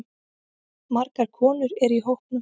Margar konur eru í hópnum.